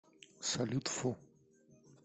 салют фу